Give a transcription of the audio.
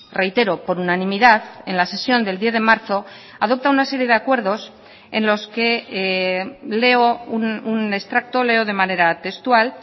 reitero por unanimidad en la sesión del diez de marzo adopta una serie de acuerdos en los que leo un extracto leo de manera textual